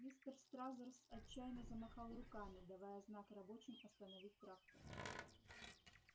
мистер стразерс отчаянно замахал руками давая знак рабочим остановить трактор